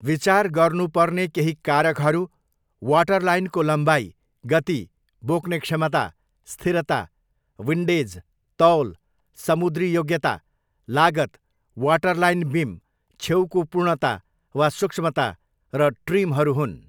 विचार गर्नुपर्ने केही कारकहरू वाटरलाइनको लम्बाइ, गति, बोक्ने क्षमता, स्थिरता, विन्डेज, तौल, समुद्री योग्यता, लागत, वाटरलाइन बिम, छेउको पूर्णता वा सूक्ष्मता, र ट्रिमहरू हुन्।